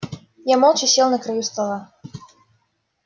я молча сел на краю стола